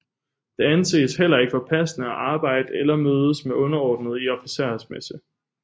Det anses heller ikke for passende at arbejde eller mødes med underordnede i en officersmesse